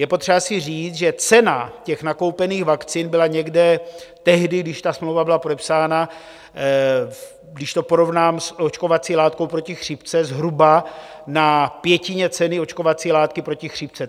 Je potřeba si říct, že cena těch nakoupených vakcín byla někde - tehdy, když ta smlouva byla podepsána, když to porovnám s očkovací látkou proti chřipce - zhruba na pětině ceny očkovací látky proti chřipce.